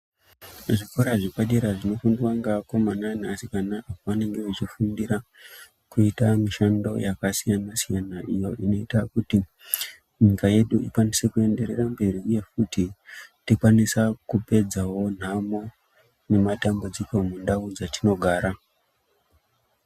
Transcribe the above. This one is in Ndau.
Zvikora zvepadera zvinoendwa ngeakomana neasikana apo vanenge vachifundira kuita mishando yakasiyana-siyana iyo inoita kuti nyika yedu ikwanise kuenderera mberi uye kuti tikwanisa kupedzawo nhamo nematambudziko mundau dzatinogara.